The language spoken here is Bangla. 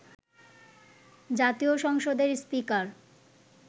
জাতীয় সংসদের স্পিকার